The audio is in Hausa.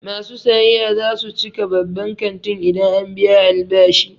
Masu sayayya za su cika babban kantin idan an biya albashi.